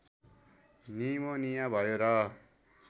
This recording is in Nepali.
निमोनिया भयो र